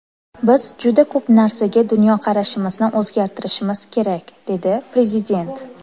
Biz juda ko‘p narsaga dunyoqarashimizni o‘zgartirishimiz kerak”, dedi Prezident.